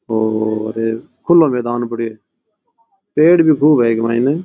और खुला मैदान पड़ो है पेड़ भी खूब है इक माइन।